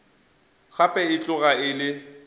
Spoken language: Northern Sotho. gape e tloga e le